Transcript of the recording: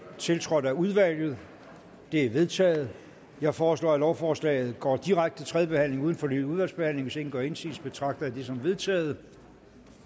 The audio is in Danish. tiltrådt af udvalget det er vedtaget jeg foreslår at lovforslaget går direkte til tredje behandling uden fornyet udvalgsbehandling hvis ingen gør indsigelse betragter jeg det som vedtaget